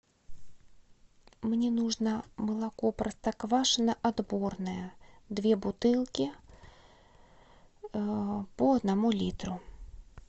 мне нужно молоко простоквашино отборное две бутылки по одному литру